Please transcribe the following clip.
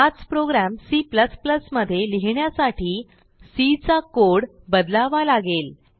हाच प्रोग्रॅमC मध्ये लिहिण्यासाठी सी चा कोड बदलावा लागेल